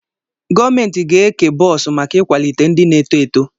Gọvaménti ga-ékè bọọsu màkà ikwalite ndị na éto éto